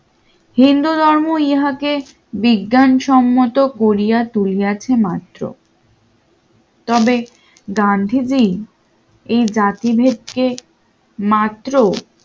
হিন্দুধর্ম ইহাকে বিজ্ঞানসম্মত করিয়া তুলিয়াছে মাত্র তবে গান্ধীজি এই জাতিভেদকে মাত্র